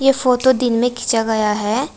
Photo दिन में खींचा गया है।